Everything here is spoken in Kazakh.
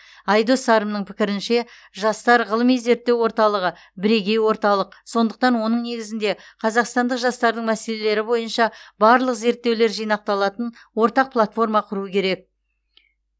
айдос сарымның пікірінше жастар ғылыми зерттеу орталығы бірегей орталық сондықтан оның негізінде қазақстандық жастардың мәселелері бойынша барлық зерттеулер жинақталатын ортақ платформа құру керек